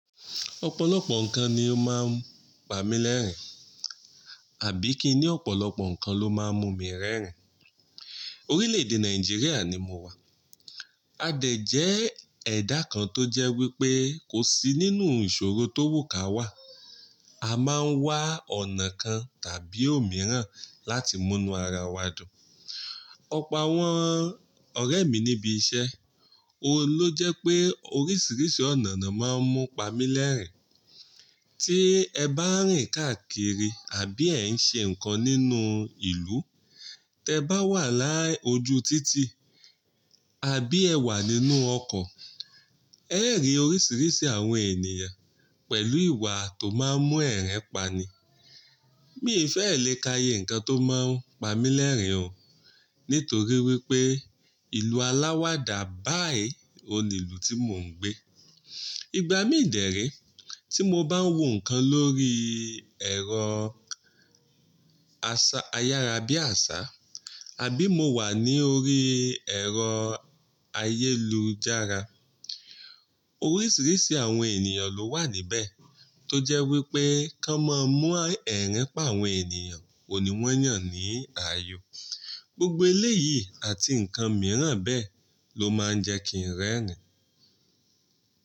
Ọ̀pọ̀lọpọ̀ nǹkan ni ó máa ń pa mí lẹ́rìn-ín, àbí kí n ní ọ̀pọ̀lọpọ̀ nǹkan ló máa ń mú mi rẹ́rìn. Orílẹ̀-èdè Nàìjíríà ni mo wà. A dẹ̀ jẹ́ ẹ̀dá kan tó jẹ́ wípé kò sí nínú ìṣòro tó wù ká wà, a máa ń wá ọ̀nà kan tàbí òmíràn láti múnú ara wa dùn. Ọ̀po wọ́n ọ̀rẹ́ mi níbi iṣẹ́, óun ló jẹ́ pé oríṣiríṣi ọ̀nà ni wọ́n máa ń mú pa mí lẹ́rìn-ín. Tí ẹ bá rìn káàkiri àbí ẹ ń ṣe nǹkan nínú ìlú, tí ẹ bá wà láyé ojú títì àbí ẹ wà nínú ọkọ̀, ẹ́ rí oríṣiríṣi àwọn ènìyàn pẹ̀lú ìwà tó máa ń mú ẹ̀rẹ́n pani. Mi fẹ́ẹ̀ lè ka iye nǹkan tó máa ń pa mí lẹ́rìn-ín o, nítorí wípé ìlú aláwàdà báyìí ni ìlú tí mò ń gbé. Ìgbà mí dè re tí mo bá ń wò nǹkan lórí ẹ̀rọ ayárábiàsà, àbí mo wà ní orí ẹ̀rọ ayélujára, oríṣiríṣi àwọn ènìyàn ló wà níbẹ̀ tó jẹ́ wípé kí wọ́n máa mú ẹ̀rin pa àwọn ènìyàn, òun ní wọ́n yàn ní ààyò. Gbogbo eléyìí àti nǹkan mìíràn bẹ́ẹ̀ ló máa ń jẹ́ kí n rẹ́rìn.